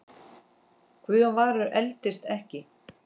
Guðjón Valur eldist ekki.